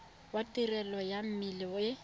wa tirelo ya melemo e